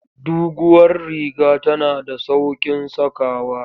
Duguwar riga tana da sauƙin sakawa.